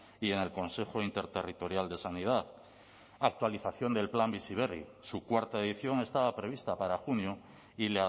y en el consejo interterritorial de sanidad actualización del plan bizi berri su cuarta edición estaba prevista para junio y